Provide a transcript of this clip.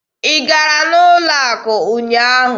Ị gara n'ụlọ akụ ụnyaahụ?